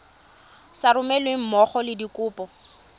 sa romelweng mmogo le dikopo